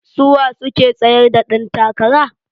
Suwa suke tsayar da dan takara?